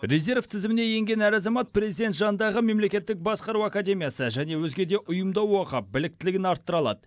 резерв тізіміне енген әр азамат президент жанындағы мемлекеттік басқару академиясы және өзге де ұйымда оқып біліктілігін арттыра алады